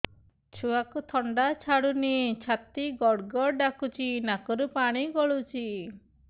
ଛୁଆକୁ ଥଣ୍ଡା ଛାଡୁନି ଛାତି ଗଡ୍ ଗଡ୍ ଡାକୁଚି ନାକରୁ ପାଣି ଗଳୁଚି